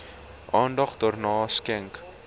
aandag daaraan skenk